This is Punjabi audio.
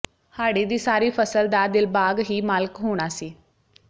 ਹਾੜ੍ਹੀ ਦੀ ਸਾਰੀ ਫ਼ਸਲ ਦਾ ਦਿਲਬਾਗ ਹੀ ਮਾਲਕ ਹੋਣਾ ਸੀ